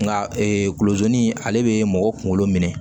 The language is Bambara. Nka ee kulo zoni ale be mɔgɔ kunkolo minɛ